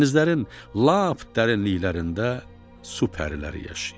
Dənizlərin lap dərinliklərində su pəriləri yaşayır.